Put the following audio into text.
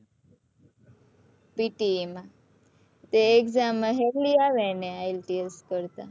pte માં તે exam હેલી આવે ને ITLS કરતા